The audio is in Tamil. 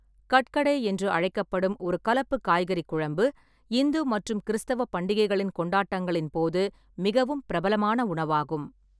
கட்கடே என்று அழைக்கப்படும் ஒரு கலப்பு காய்கறி குழம்பு, இந்து மற்றும் கிறிஸ்தவ பண்டிகைகளின் கொண்டாட்டங்களின் போது மிகவும் பிரபலமான உணவாகும்.